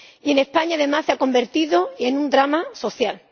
Y en España, además, se ha convertido en un drama social.